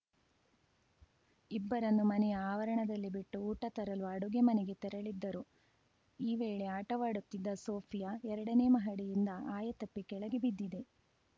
ಇಬ್ಬರನ್ನು ಮನೆಯ ಆವರಣದಲ್ಲಿ ಬಿಟ್ಟು ಊಟ ತರಲು ಅಡುಗೆ ಮನೆಗೆ ತೆರಳಿದ್ದರು ಈ ವೇಳೆ ಆಟವಾಡುತ್ತಿದ್ದ ಸೋಫಿಯಾ ಎರಡನೇ ಮಹಡಿಯಿಂದ ಆಯತಪ್ಪಿ ಕೆಳಗೆ ಬಿದ್ದಿದೆ